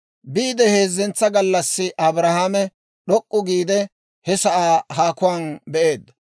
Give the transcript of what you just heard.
Biide heezzentsa gallassi Abrahaame d'ok'k'u giide, he sa'aa haakuwaan be'eedda.